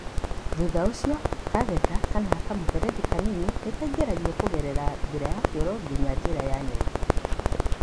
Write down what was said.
Thutha ũcio, katheta(kamũberethi kanini) nĩ kaingĩragio kũgerera endoscope nginya njĩra ya nyongo.